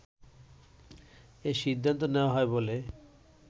এ সিদ্ধান্ত নেয়া হয় বলে